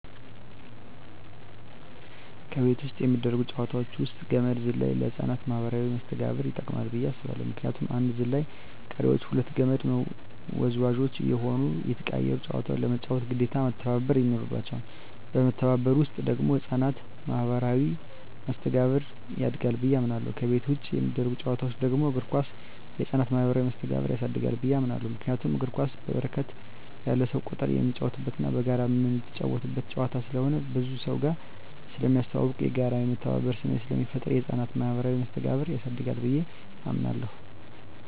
ከቤት ውስጥ የሚደረጉ ጨዋታወች ውስጥ ገመድ ዝላይ ለህፃናት ማኀበራዊ መስተጋብር ይጠቅማ ብየ አስባለሁ ምክንያቱም አንዱ ዘላይ ቀሪወች ሁለቱ ከመድ ወዝዋዥ እየሆኑና እየተቀያየሩ ጨዋታውን ለመጫወት ግዴታ መተባበር ይኖርባቸዋል በመተባበር ውስጥ ደግሞ የህፃናት ማኋበራዊ መስተጋብር ያድጋል ብየ አምናለሁ። ከቤት ውጭ የሚደረጉ ጨዋታወች ደግሞ እግር ኳስ የህፃናትን ማህበራዊ መስተጋብር ያሳድጋል ብየ አምናለሁ። ምክንያቱም እግር ኳስ በርከት ያለ የሰው ቁጥር የሚጫወትበትና በጋራ ምትጫወተው ጨዋታ ስለሆነ ከብዙ ሰውጋር ስለሚያስተዋውቅ፣ የጋራና የመተባበር ስሜት ስለሚፈጥር የህፃናትን ማኀበራዊ መስተጋብር ያሳድጋል ብየ አምናለሁ።